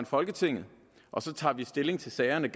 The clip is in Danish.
folketinget og så tager vi stilling til sagerne